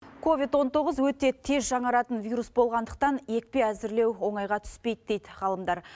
ковид он тоғыз өте тез жаңаратын вирус болғандықтан екпе әзірлеу оңайға түспейді дейді ғалымдар